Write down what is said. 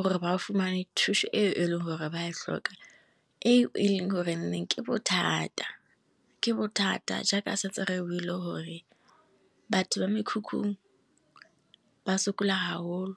gore ba fumane thuso e e leng gore ba tlhoka e e leng gore nneng ke bothata, ke bothata jaaka seterebo ile hore batho ba mekhukhung ba sokola haholo.